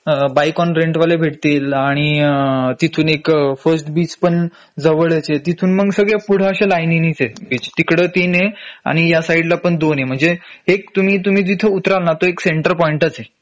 a bike on rent वाले भेटतील आणि अ तिथून एक फर्स्ट बीच पण जवळच आहे तिथून मग सगळे पुढे अशे लायनीनीच आहेत बीच तिकडं तीन आहे आणि या साइडला पण दोन आहे म्हंजे एकतुम्ही तुम्ही जिथं उतराल ना तो एक सेंटर पॉईंटच आहे